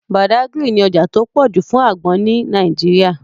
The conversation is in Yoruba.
Badagry ní ọjà tó pọ̀ jù fún àgbọn ní Nàìjíríà